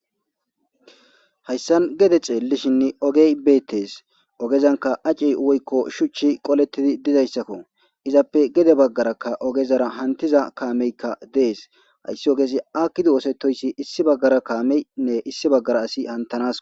Hayssan gede xeellishinne ogey beettes ogezanka acey woykko shuchchi qolettidi dizayssakko izappe gede baggarakka ogezara hantiza kaameykka dees hayssi ogeesi akkidu oosetoyssi issi baggara kaameynne issi baggara asi hantanas.